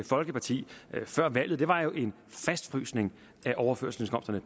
folkeparti før valget var jo en fastfrysning af overførselsindkomsterne